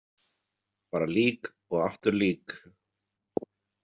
Bara lík og aftur lík.